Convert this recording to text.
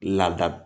Labila